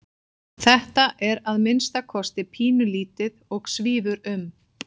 Þetta er að minnsta kosti pínulítið og svífur um.